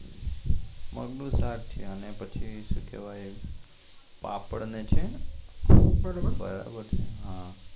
મગ નું શાક છે અને પછી સુ કેવાય પાપડ ને છે બરોબર